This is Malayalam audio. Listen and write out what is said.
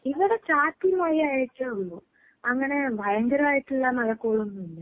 ഇവിടെ ചാറ്റൽ മഴ ആയിട്ടേ ഉള്ളൂ. അങ്ങനെ ഭയങ്കരായിട്ടുള്ള മഴക്കോളൊന്നും ഇല്ല.